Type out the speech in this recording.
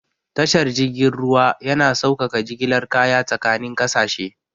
Tashar jirgin ruwa yana saukaka jigilar kaya tsakanin kasashe.